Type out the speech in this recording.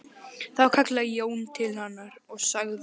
Þá kallaði Jón til hennar og sagði